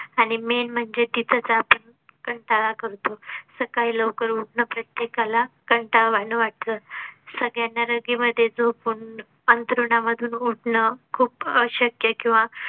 आणि main म्हणजे तिथेच आपण कंटाळा करतो. सकाळी लवकर उठणं प्रत्येका ला कंटाळवाणं वाटतं. सगळ्यांना रगे मध्ये झोपून अंथरुणा मधून उठ णं खूप अशक्य किंवा